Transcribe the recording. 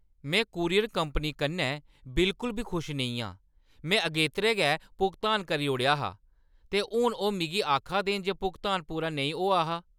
में courier company कन्नै बिलकुल बी खुश नेईं आं। में अगेतरे गै भुगतान करी ओड़ेआ हा, ते हून ओह् मिगी आखा दे न जे भुगतान पूरा नेईं होआ हा!